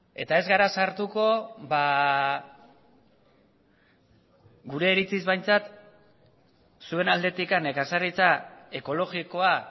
eta ez gara sartuko gure iritziz behintzat zuen aldetik nekazaritza ekologikoa